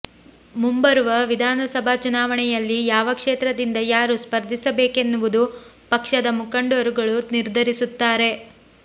ಮುಂಬರುವ ವಿಧಾನಸಭಾ ಚುನಾವಣೆಯಲ್ಲಿ ಯಾವ ಕ್ಷೇತ್ರದಿಂದ ಯಾರು ಸ್ಪರ್ಧಿಸಬೇಕೆನ್ನುವುದನ್ನು ಪಕ್ಷದ ಮುಖಂಡರುಗಳು ನಿರ್ಧರಿಸುತ್ತಾರೆ